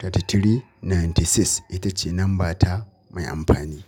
thirty three ninety six, ita ce namba ta mai amfani.